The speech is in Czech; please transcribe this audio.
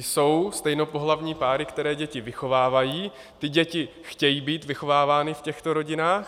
Jsou stejnopohlavní páry, které děti vychovávají, ty děti chtějí být vychovávány v těchto rodinách.